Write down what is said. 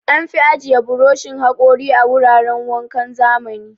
An fi ajiye burushin haƙori a wuraran wankan zamani.